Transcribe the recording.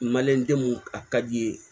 denw a ka di i ye